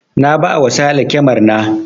Na ba wa sale kyamar na